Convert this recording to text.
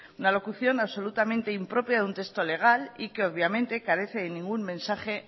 una locución impropia de un texto legal y que obviamente carece de ningún mensaje